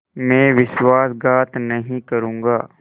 मैं विश्वासघात नहीं करूँगा